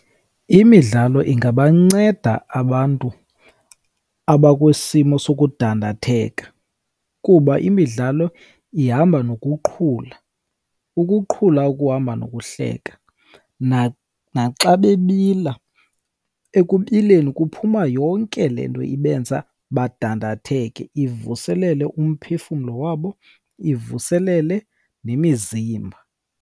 Imidlalo ingabanceda abantu abakwisimo sokudandatheka, kuba imidlalo ihamba nokuqhula. Ukuqhula okuhamba nokuhleka, naxa bebila ekubileni kuphuma yonke le nto ibenza badandatheke, ivuselele umphefumlo wabo, ivuselele nemizimba.